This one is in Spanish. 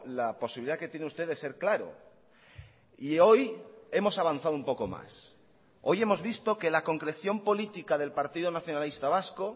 la posibilidad que tiene usted de ser claro y hoy hemos avanzado un poco más hoy hemos visto que la concreción política del partido nacionalista vasco